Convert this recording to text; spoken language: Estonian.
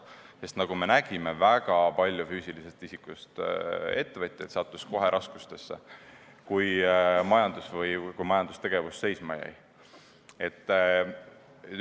Sest nagu me nägime, väga palju füüsilisest isikust ettevõtjaid sattus kohe raskustesse, kui majandustegevus seisma jäi.